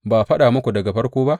Ba a faɗa muku daga farko ba?